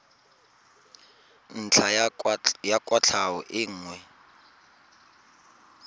ntlha ya kwatlhao e nngwe